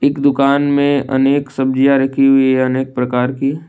इक दुकान में अनेक सब्जियां रखी हुई है अनेक प्रकार की।